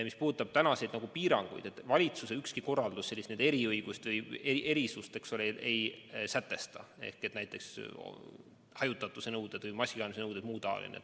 Mis puudutab praegusi piiranguid, siis ükski valitsuse korraldus sellist eriõigust või erisust ei sätesta, et neile inimestele kehtiksid teistsugused hajutatuse või maskikandmise nõuded.